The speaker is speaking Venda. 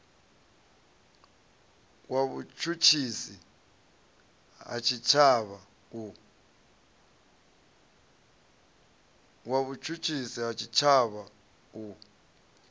wa vhutshutshisi ha tshitshavha u